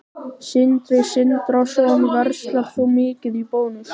Sindri Sindrason: Verslar þú mikið í Bónus?